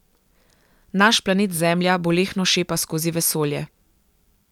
Naš planet Zemlja bolehno šepa skozi vesolje.